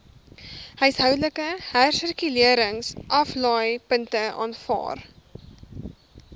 huishoudelike hersirkuleringsaflaaipunte aanvaar